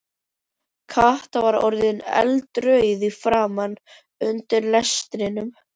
Kata var orðin eldrjóð í framan undir lestrinum.